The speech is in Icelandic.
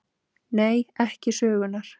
Nei: ekki sögunnar.